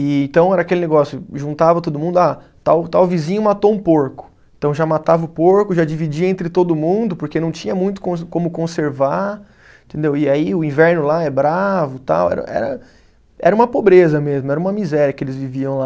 E então era aquele negócio, juntava todo mundo, ah tal tal vizinho matou um porco, então já matava o porco, já dividia entre todo mundo, porque não tinha muito com como conservar entendeu, e aí o inverno lá é bravo, era era era uma pobreza mesmo, era uma miséria que eles viviam lá.